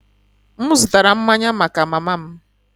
M zụtara mmanya maka mama m